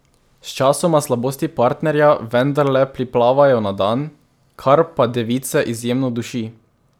Sčasoma slabosti partnerja vendarle priplavajo na dan, kar pa device izjemno duši.